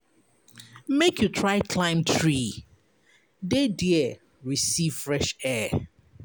Make you try climb tree dey there receive fresh air.